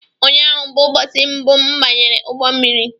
Ụnyaahụ bụ ụbọsi mbụ m banyere ụgbọ mmiri